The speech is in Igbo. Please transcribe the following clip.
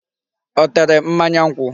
Ọ tere mmanya nkwụ?